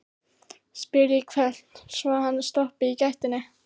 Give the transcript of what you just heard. spyr ég hvellt, svo hann stoppar í gættinni.